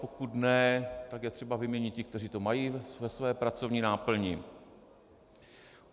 Pokud ne, tak je třeba vyměnit ty, kteří to mají ve své pracovní náplni.